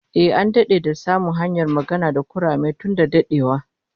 Ehh, an dade da samun hanyar magana da kurame tun da dadewa